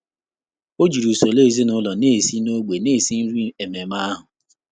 Ọ́ jìrì usoro ezinụlọ nà-èsí n’ọ́gbọ́ nà-èsí nrí ememe ahụ.